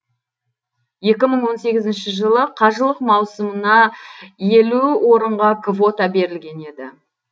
екі мың он сегізінші жылы қажылық маусымына елу орынға квота берілген еді